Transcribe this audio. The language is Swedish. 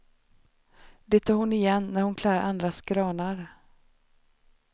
Det tar hon igen när hon klär andras granar.